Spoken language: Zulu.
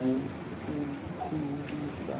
yokukhulisa